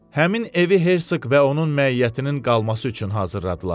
Həmin evi Hersoq və onun məiyyətinin qalması üçün hazırladılar.